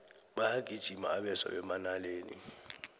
bayagijima abeswa bemanaleni